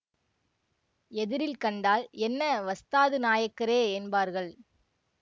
எதிரில் கண்டால் என்ன வஸ்தாது நாயக்கரே என்பார்கள்